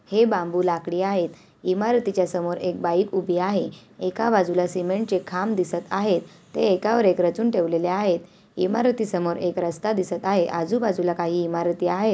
हे बांबू लाकडी आहेत इमारतीच्या समोर एक बाईक उभी आहे एका बाजूला सिमेंट चे खांब आहेत ते एकावर एक ठेवलेले आहेत इमारती समोर एक रस्ता दिसत आहे आजूबाजूला काही इमारती आहे.